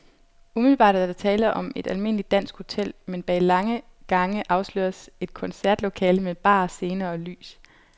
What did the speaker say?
Umiddelbart er der tale om et almindeligt dansk hotel, men bag lange gange afsløres et koncertlokale med bar, scene og lys.